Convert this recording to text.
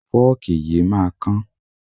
Fọ́ọ̀kì yìí máa kán.